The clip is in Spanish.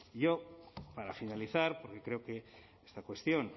yo para finalizar porque creo que esta cuestión